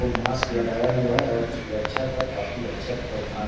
वो मास्क लगाया हुआ है और वो सुरक्षा का काफी अच्छा प्रावधान --